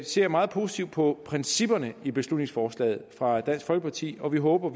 ser meget positivt på principperne i beslutningsforslaget fra dansk folkeparti og vi håber